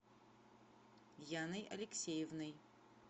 яной алексеевной